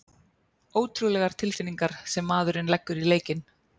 Ótrúlegar tilfinningar sem maðurinn leggur í leikinn!